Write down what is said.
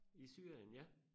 I Syrien ja